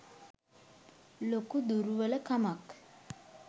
ලොකු දුරුවල කමක්.